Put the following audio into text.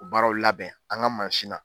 O baaraw labɛn an ga mansi na